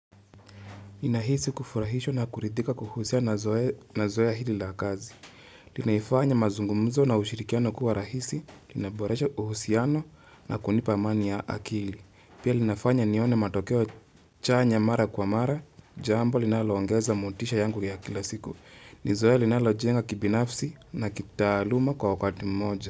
Nahisi kufurahishwa na kuridhika kuhusiana na zoea hili la kazi. Linaifanya mazungumzo na ushirikiano kuwa rahisi, inaboresha uhusiano na kunipa amani ya akili. Pia linafanya nione matokeo chanya mara kwa mara, jambo linaloongeza motisha yangu ya kila siku. Nizoea linalojenga kibinafsi na kitaaluma kwa wakati mmoja.